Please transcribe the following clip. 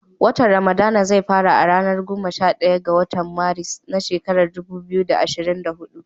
Watan ramadana zai fara a ranar goma sha ɗaya ga watan Maris, na shekarar dubu biyu da ashirin da hudu